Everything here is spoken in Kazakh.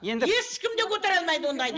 енді ешкім де көтере алмайды ондайды